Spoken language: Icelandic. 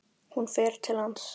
Hún fer til hans.